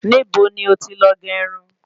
Níbo ni o ti lọ gé Irun?